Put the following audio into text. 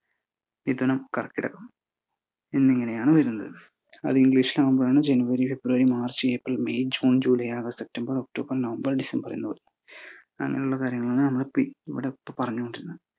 മിഥുനം, കർക്കിടകം എന്നിങ്ങനെയാണ് വരുന്നത്. അത് ഇംഗ്ലീഷിലാവുമ്പഴാണ് January, February, March, April, May, June, July, August, September, October, November, December എന്നത് അങ്ങനുള്ള കാര്യങ്ങളാണ് നമ്മളിപി ~ ഇവിടെ പറഞ്ഞോണ്ടിരുന്നത്